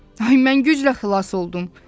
Ay, mən güclə xilas oldum!